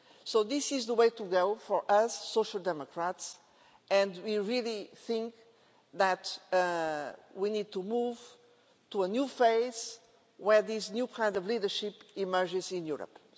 So this is the way to go for us Social Democrats, and we really think that we need to move to a new phase where this new kind of leadership emerges in Europe.